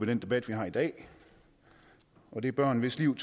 den debat vi har i dag og det er børn hvis liv